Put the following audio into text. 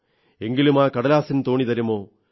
എങ്കിലുമാ കടലാസിൻ തോണി തരുമോ